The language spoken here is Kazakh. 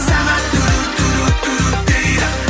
сағат дейді